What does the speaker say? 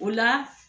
O la